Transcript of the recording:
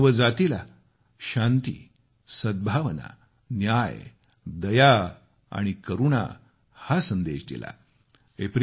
त्यांनी मानवजातीला शांती सद्भावना न्याय दया आणि करुणा हा संदेश दिला